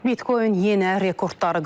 Bitcoin yenə rekordları qırıb.